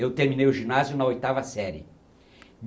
Eu terminei o ginásio na oitava série.